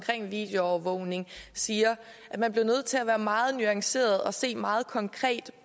videoovervågning siger at man bliver nødt til at være meget nuanceret og se meget konkret